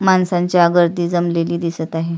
माणसांच्या गर्दी जमलेली दिसत आहे.